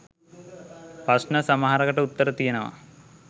ප්‍රශ්න සමහරකට උත්තර තියනවා